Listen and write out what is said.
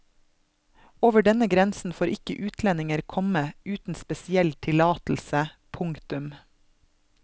Over denne grensen får ikke utlendinger komme uten spesiell tillatelse. punktum